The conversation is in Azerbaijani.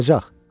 Qayıdacaq.